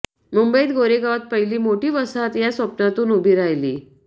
मुंबईत गोरेगावात पहिली मोठी वसाहत या स्वप्नातून उभी राहिली